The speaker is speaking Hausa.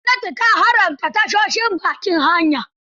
Gwamnati ta haramta tashoshin bakin hanya.